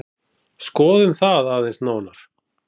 Skoðum það aðeins nánar.